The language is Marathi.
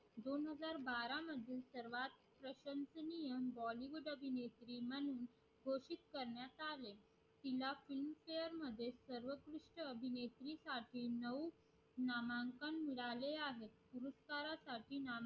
तिला films fare मध्ये सर्वत्कृष्ट अभिनेत्री साठी नऊ नामांकन मिळाले आहे भूतकाळासाठी